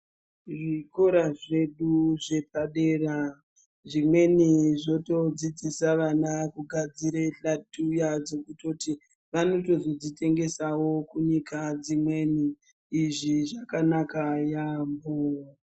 Zvikoro zvedu zvepa dera, zvimweni zvotodzidzise vana kugadzire xathuya dzekutoti vanotozodzitengesawo kunyika dzimweni. Izvi zvakanaka yaamho.